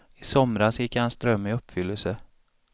I somras gick hans dröm i uppfyllelse.